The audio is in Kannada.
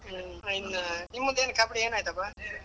ಇನ್ನ್ ನಿಮ್ದು ಏನ್ ಕಬ್ಬಡಿ ಏನ್ ಆಯ್ತಪಾ?